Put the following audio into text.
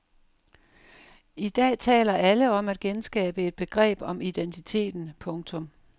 I dag taler alle om at genskabe et begreb om identiteten. punktum